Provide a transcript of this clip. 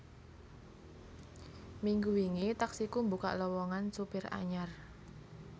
Minggu wingi Taksiku mbukak lowongan supir anyar